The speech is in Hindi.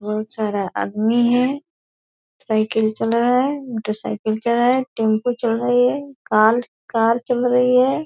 बहोत सारा आदमी है साइकिल चल रहा है मोटरसाइकिल चल रहा है टेम्पो चल रही है कार कार चल रही है ।